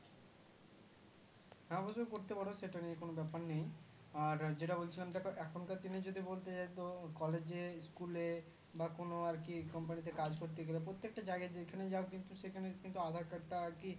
হ্যাঁ অবশ্যই করতে পারো সেটা নিয়ে কোনো ব্যাপার নেই আর যে টা বলছিলাম যে এখনকার দিনে যদি বলতে যাই তো college এ school এ বা কোনো আর কি Company তে কাজ করতে গেলে প্রত্যেকটা জায়গায় যেখানে যাও কিন্তু সেখানে aadhar card টা আর কি